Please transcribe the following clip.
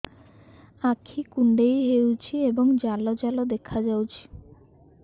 ଆଖି କୁଣ୍ଡେଇ ହେଉଛି ଏବଂ ଜାଲ ଜାଲ ଦେଖାଯାଉଛି